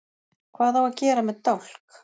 Hvað á að gera með dálk?